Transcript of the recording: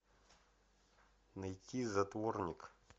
найти затворник